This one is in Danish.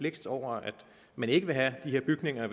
blixt over at man ikke vil have de her bygninger